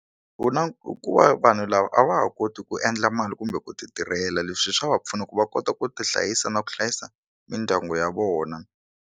Ku na ko va hi ku vanhu lava a va ha koti ku endla mali kumbe ku ti tirhela leswi swa va pfuna ku va kota ku ti hlayisa na ku hlayisa mindyangu ya vona.